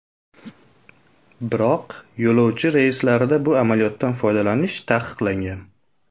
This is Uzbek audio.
Biroq yo‘lovchi reyslarida bu amaliyotdan foydalanish taqiqlangan.